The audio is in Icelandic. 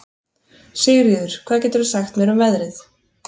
Sigríður, hvað geturðu sagt mér um veðrið?